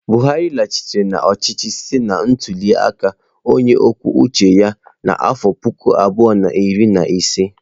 Buhari laghachiri n'ọchịchị site na ntuli aka onye kwuo uche ya n'afọ puku abụọ na iri na ise.